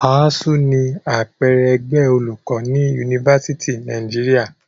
ASSU ni àpẹẹrẹ ẹgbẹ́ olùkọ́ ní Yunifásítì Nàìjíríà.